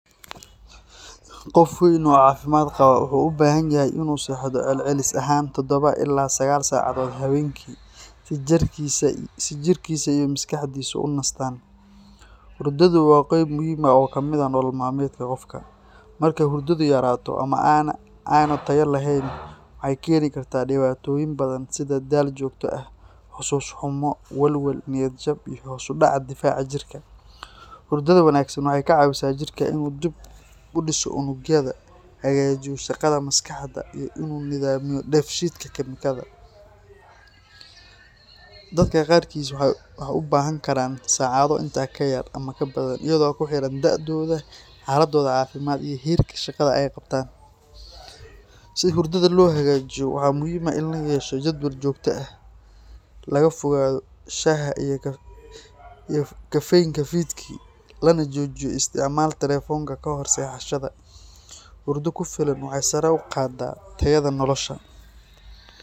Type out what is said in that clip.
Qof weyn oo caafimaad qaba wuxuu u baahan yahay in uu seexdo celcelis ahaan todhoba ilaa sagaal saacadood habeenkii si jirkiisa iyo maskaxdiisu u nastaan. Hurdadu waa qayb muhiim ah oo ka mid ah nolol maalmeedka qofka. Marka hurdadu yaraato ama aanay tayo lahayn, waxay keeni kartaa dhibaatooyin badan sida daal joogto ah, xusuus xumo, walwal, niyad jab, iyo hoos u dhaca difaaca jirka. Hurdada wanaagsan waxay ka caawisaa jirka in uu dib u dhiso unugyada, hagaajiyo shaqada maskaxda, iyo in uu nidaamiyo dheef-shiid kiimikaadka. Dadka qaarkiis waxay u baahan karaan saacado intaa ka yar ama ka badan iyadoo ku xiran da'dooda, xaaladdooda caafimaad iyo heerka shaqada ay qabtaan. Si hurdada loo hagaajiyo, waxaa muhiim ah in la yeesho jadwal joogto ah, laga fogaado shaaha iyo caffeine-ka fiidkii, lana joojiyo isticmaalka telefoonka kahor seexashada. Hurdo ku filan waxay sare u qaaddaa tayada nolosha.